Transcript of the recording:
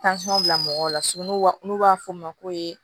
bila mɔgɔw la n'u b'a fɔ o ma ko